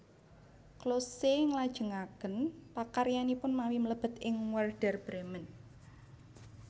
Klose nglajengaken pakaryanipun mawi mlebet ing Wèrder Brèmen